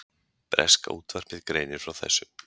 Breska útvarpið greinir frá þessu